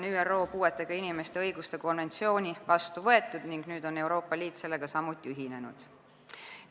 ÜRO puuetega inimeste õiguste konventsioon on vastu võetud ning nüüd on Euroopa Liit sellega ühinenud.